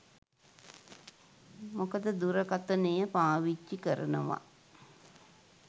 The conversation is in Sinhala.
මොකද දුරකථනය පාවිච්චි කරනව